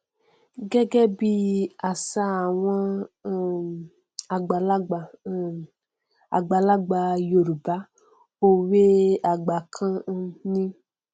gẹgẹ bí àṣà àwọn um àgbàlagbà um àgbàlagbà yorùbá òwe àgbà kan um ni